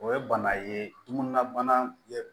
O ye bana ye tuguna bana ye